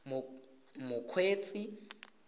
mokgweetsi